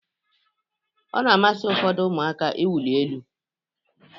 Ọ na-amasị ụfọdụ ụmụaka iwuli elu